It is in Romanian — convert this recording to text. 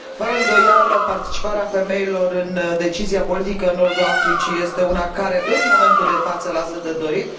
Fără îndoială, participarea femeilor în decizia politică în nordul Africii este una care, în momentul de față, lasă de dorit.